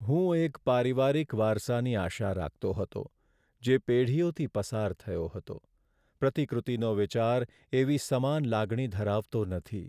હું એક પારિવારિક વારસાની આશા રાખતો હતો, જે પેઢીઓથી પસાર થયો હતો. પ્રતિકૃતિનો વિચાર એવી સમાન લાગણી ધરાવતો નથી.